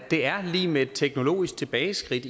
er lig med et teknologisk tilbageskridt